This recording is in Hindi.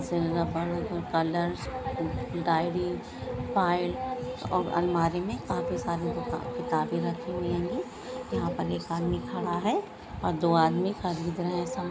कलर्स डायरी बी पायल और अलमारी में काफी सारी कि किताबें रखी हुवेंगे यहां पर एक आदमी खड़ा है और दो आदमी खरीद रहा है समा--